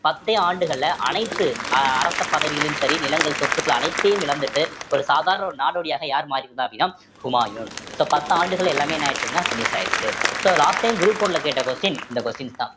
பத்தே ஆண்டுகள்ல அனைத்து அ~அரச பதவிகளிலும் சரி நிலங்கள் சொத்துக்கள் அனைத்தையும் இழந்துட்டு ஒரு சாதாரண ஒரு நாடோடியாக யார் மாறியிருந்தா அப்படின்னா ஹுமாயூன் so பத்தாண்டுகள் எல்லாமே என்ன ஆயிடுச்சு அப்படின்னா finish ட்டு ஆயிடுச்சு so last time group one ல கேட்ட question இந்த question தான்